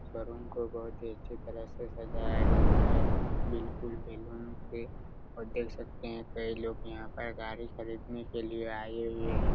Showroom को बहुत ही अच्छे तरह से सजाया गया हैं बिलकुल बेलून से और देख सकते हैं कई लोग यहाँ पे गाड़ी खरीदने के लिए आये हुए हैं।